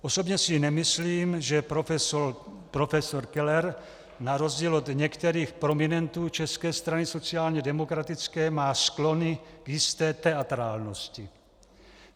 Osobně si nemyslím, že profesor Keller, na rozdíl od některých prominentů České strany sociálně demokratické, má sklony k jisté teatrálnosti.